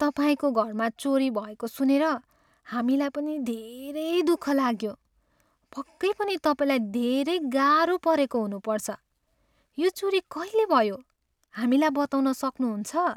तपाईँको घरमा चोरी भएको सुनेर हामीलाई पनि धेरै दुख लाग्यो। पक्कै पनि तपाईँलाई धेरै गाह्रो परेको हुनुपर्छ। यो चोरी कहिले भयो, हामीलाई बताउन सक्नुहुन्छ?